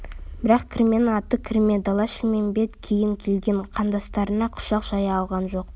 бірақ кірменің аты кірме дала-шілмембет кейін келген қандастарына құшақ жая алған жоқ